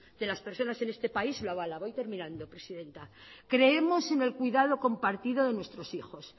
de las personas en este país lo avala voy terminando presidenta creemos en el cuidado compartido de nuestros hijos